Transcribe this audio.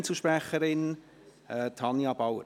Als Einzelsprecherin: Tanja Bauer.